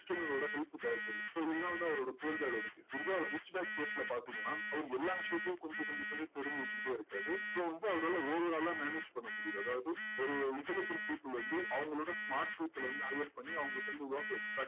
external ஓட help தேவைப்படுது so இதுதான் வந்து அவரோட poor dad ஓட case இதே அவர் rich dadcase ல பாத்தீங்கன்னா, அவரு எல்லா விஷயத்துலயும் கொஞ்சம் கொஞ்சம் கொஞ்சம் தெரிஞ்சு வச்சுட்டே இருக்காரு. so வந்து அவரால overall ஆ manage பண்ண முடியுது. அதாவது ஒரு intelligent people வந்து அவங்களோட smart people ல வந்து hire பண்ணி, அவங்க கிட்ட இருந்து work extract